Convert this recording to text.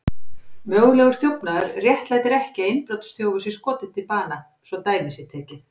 Mögulegur þjófnaður réttlætir ekki að innbrotsþjófur sé skotinn til bana, svo dæmi sé tekið.